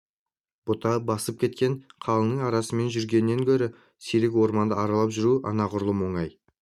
бұта басып кеткен қалыңның арасымен жүргеннен гөрі сирек орманды аралап жүру анағұрлым оңай